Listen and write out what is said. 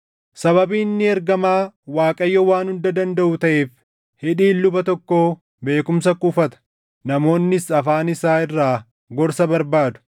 “Sababii inni ergamaa Waaqayyo Waan Hunda Dandaʼuu taʼeef, hidhiin luba tokkoo beekumsa kuufata; namoonnis afaan isaa irraa gorsa barbaadu.